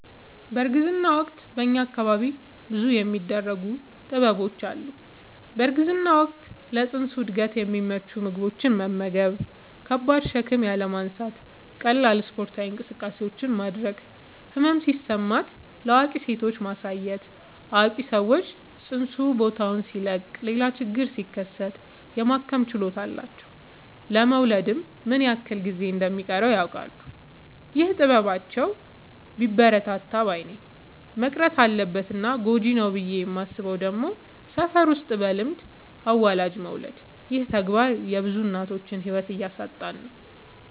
በእርግዝና ወቅት በእኛ አካባቢ ብዙ የሚደረጉ ጥበቦች አሉ። በእርግዝና ወቅት ለፅንሱ እድገት የሚመቹ ምግቦችን መመገብ። ከባድ ሸክም ያለማንሳት ቀላል ስፓርታዊ እንቅስቃሴዎችን ማድረግ። ህመም ሲሰማት ለአዋቂ ሴቶች ማሳየት አዋቂ ሰዎች ፅንሱ ቦታውን ሲለቅ ሌላ ችግር ሲከሰት የማከም ችሎታ አላቸው ለመወለድ ምን ያክል ጊዜ እንደ ሚቀረውም ያውቃሉ። ይህ ጥበባቸው ቢበረታታ ባይነኝ። መቅረት አለበት እና ጎጂ ነው ብዬ የማስበው ደግሞ ሰፈር ውስጥ በልምድ አዋላጅ መውለድ ይህ ተግባር የብዙ እናቶችን ህይወት እያሳጣን ነው።